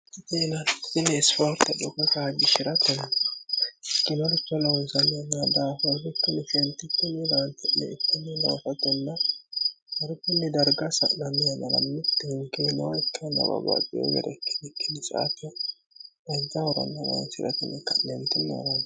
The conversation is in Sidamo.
iteina ini isfoorta cokotaajgi shi'ratenni igimalucho loonzalnnadaahoorrikkimishentichi miraanti'le ittini loofotonna hargunni darga sa'nanmi amarammutti hingiinoakkannababaaxeogere kkinikkilitsaate mazza horanmnoonsi'ratnni ka'neemtinneerann